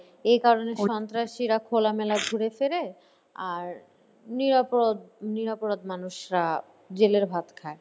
এ কারণে সন্ত্রাসীরা খোলামেলা ঘোরেফেরে আর নিরাপরাধ~ নিরাপরাধ মানুষরা জেলের ভাত খায়।